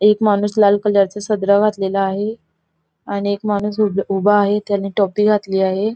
एक माणूस लाल कलर चा सदरा घातलेला आहे आणि एक माणूस उभ उभा आहे त्याने टोपी घातली आहे.